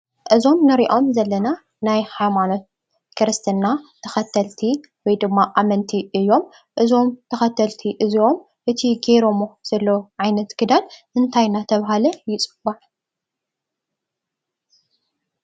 እዞም ንሪኦም ዘለና ናይ ሃይማኖት ክርስትና ተኸተልቲ ወይ ድማ ኣመንቲ እዮም፡፡ እዞም ተኸተልቲ እዚኦም እቲ ጌረሞ ዘለዉ ዓይነት ክዳን እንታይ እናተባህለ ይፅዋዕ?